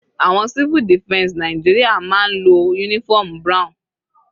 Àwọn civil defense Nàìjíríà máa ń lo uniform brown.